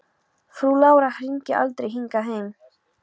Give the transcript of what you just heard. Frú Lára hringdi aldrei hingað heim.